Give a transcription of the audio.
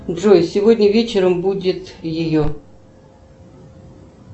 джой сегодня вечером будет ее